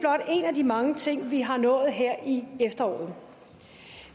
af de mange ting vi har nået her i efteråret